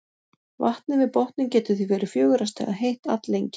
Vatnið við botninn getur því verið fjögurra stiga heitt alllengi.